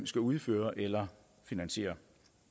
skal udføre eller finansiere